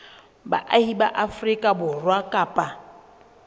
baahi ba afrika borwa kapa